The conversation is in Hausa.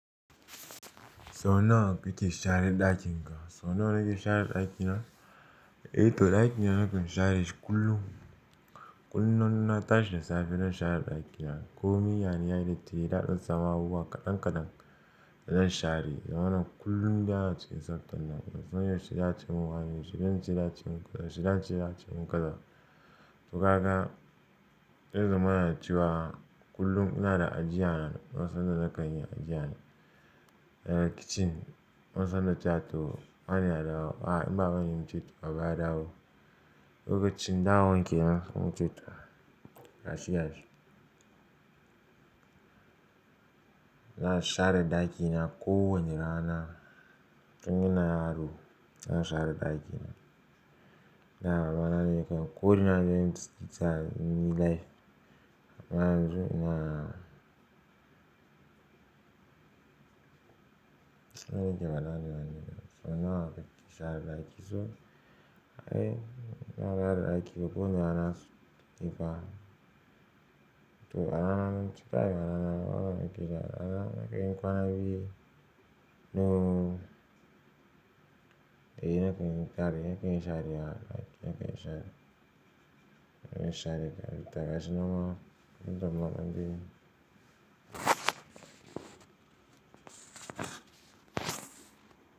Sau nawa kake share dakin ka? Sau nawa nake share ɗakina? Eh to ɗakina nakan share shi kullum. Kullum in na tashi da safe zan share ɗakina. Ko miya ne yayi datti, yayi daɗen tsamawa kuwa kadan kadan, zan share. Zamana kullum da yawa ake sabtan nan. Zan yi wace ɗaci mun wane, wace ɗanci ya ci mun kaza, wace ɗaci ya ci mun kaza. To ka ga, yanzu mana ciwa kullum ina da ajiyana. Na san in da nakan iya ajiyana. Eh kitchen ina son da ta to, bani da rawa. A'a in ba zan yi nce tu ba, ba da rawa. Duk da kitchen dawon ke nan in ce to, gashi gashi. Ina share ɗakina ko wane rana. Tun ina yaro ina share ɗaki. Na, banan yakan ko ina nake tsita ni life. Ina son ina, tsakanin gidan al'adu bane. Sau nawa kuke share ɗaki? So, ai ina share ɗaki ko wane rana su, ni ba. To a rana zan cika yana, ana mun gizo. Ana mun, kai nima kwana biyu, no. Eh nakan gari, nakan share a ɗaki, nakan share. Nakan share gari, to gashinan ma, inda muna minti.